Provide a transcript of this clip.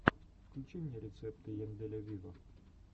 включи мне рецепты янделя виво